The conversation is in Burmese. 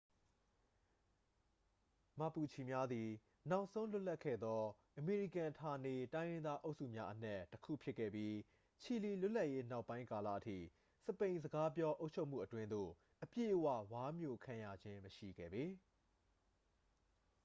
မာပူချီ များသည် နောက်ဆုံးလွတ်လပ်ခဲ့သော အမေရိကန်ဌာနေတိုင်းရင်းသားအုပ်စုများအနက် တစ်ခုဖြစ်ခဲ့ပြီး ချီလီလွတ်လပ်ရေးနောက်ပိုင်းကာလအထိ စပိန်စကားပြောအုပ်ချုပ်မှုအတွင်းသို့ အပြည့်အဝ ဝါးမျိုခံရခြင်းမရှိခဲ့ပေ